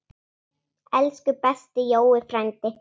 Elsku besti Jói frændi.